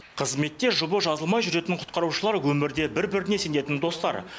қызметте жұбы жазылмай жүретін құтқарушылар өмірде бір біріне сенетін достар